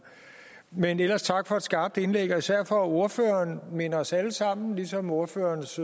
men ellers tak for et skarpt indlæg og især for at ordføreren minder os alle sammen ligesom ordførerens